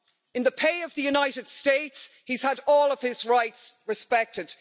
In the pay of the United States, he's had all of his rights respected.